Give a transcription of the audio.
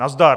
Nazdar.